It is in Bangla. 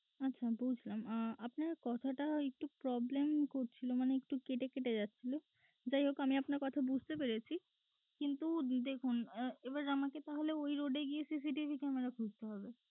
আচ্ছা বুঝলাম আহ আপনার কথাটা একটু problem করছিল মানে একটু কেটে কেটে যাচ্ছিল যাইহোক আপনার কথা আমি বুঝতে পেরেছি কিন্তু দেখুন এবার তাহলে আমাকে ওই road এ গিয়েই CCTV camera খুঁজতে হবে